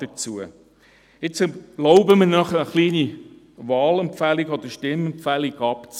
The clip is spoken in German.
Ich erlaube mir nun noch eine kleine Wahl- oder Stimmempfehlung abzugeben.